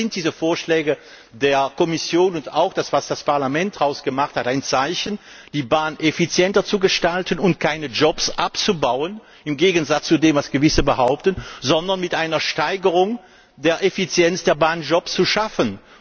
Deshalb sind diese Vorschläge der Kommission und auch das, was das Parlament daraus gemacht hat, ein Zeichen dafür, die Bahn effizienter zu gestalten und keine Jobs abzubauen im Gegensatz zu dem, was Gewisse behaupten sondern mit einer Steigerung der Effizienz der Bahn Jobs zu schaffen.